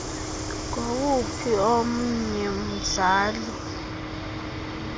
ngowuphi oyena mzali